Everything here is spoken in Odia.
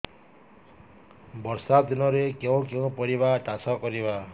ବର୍ଷା ଦିନରେ କେଉଁ କେଉଁ ପରିବା ଚାଷ କରିବା